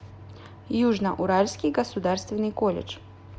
южно уральский государственный колледж